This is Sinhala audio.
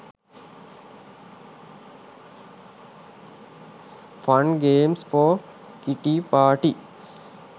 fun games for kitty party